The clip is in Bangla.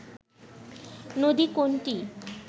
নদী কোনটি